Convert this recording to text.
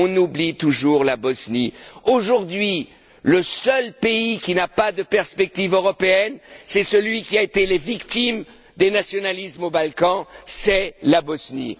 On oublie toujours la Bosnie. Aujourd'hui, le seul pays qui n'a pas de perspective européenne, c'est celui qui a été victime des nationalismes dans les Balkans, c'est la Bosnie.